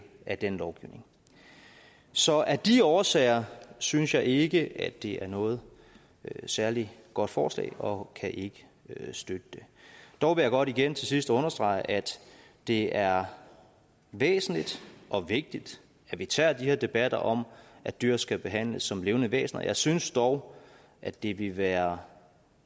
af den lovgivning så af de årsager synes jeg ikke at det er noget særlig godt forslag og kan ikke støtte det dog vil jeg godt igen til sidst understrege at det er væsentligt og vigtigt at vi tager de her debatter om at dyr skal behandles som levende væsener jeg synes dog at det ville være